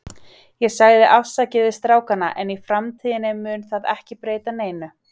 Ég sagði afsakið við strákana, en í framtíðinni mun það ekki breyta neinu.